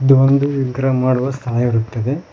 ಇದೊಂದು ವಿಗ್ರಹ ಮಾಡುವ ಸ್ಥಳ ಇರುತ್ತದೆ.